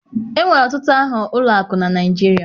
Enwere ọtụtụ aha ụlọ akụ na Naịjirịa